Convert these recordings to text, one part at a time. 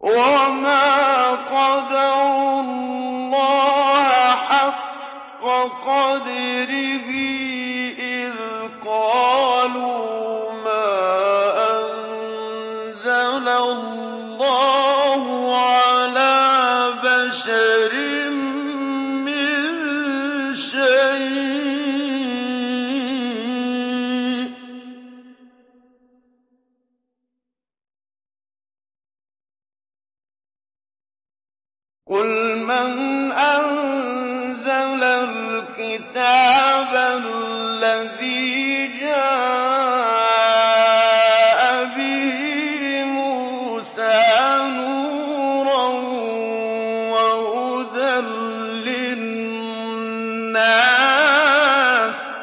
وَمَا قَدَرُوا اللَّهَ حَقَّ قَدْرِهِ إِذْ قَالُوا مَا أَنزَلَ اللَّهُ عَلَىٰ بَشَرٍ مِّن شَيْءٍ ۗ قُلْ مَنْ أَنزَلَ الْكِتَابَ الَّذِي جَاءَ بِهِ مُوسَىٰ نُورًا وَهُدًى لِّلنَّاسِ ۖ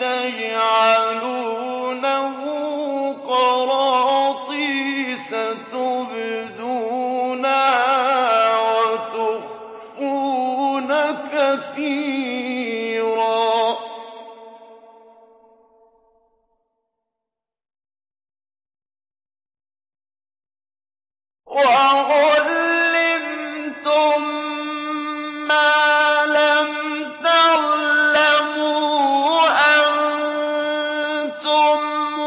تَجْعَلُونَهُ قَرَاطِيسَ تُبْدُونَهَا وَتُخْفُونَ كَثِيرًا ۖ وَعُلِّمْتُم مَّا لَمْ تَعْلَمُوا أَنتُمْ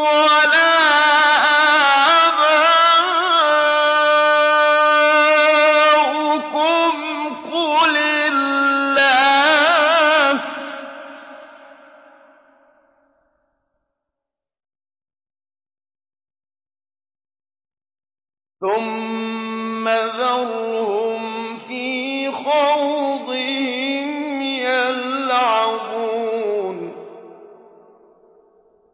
وَلَا آبَاؤُكُمْ ۖ قُلِ اللَّهُ ۖ ثُمَّ ذَرْهُمْ فِي خَوْضِهِمْ يَلْعَبُونَ